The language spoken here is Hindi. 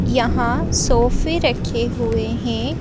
यहाँ सोफे रखे हुए हैं।